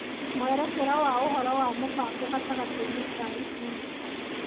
Mwerekera wa ũhoro na mũbango gatagatĩ-inĩ ka ikundi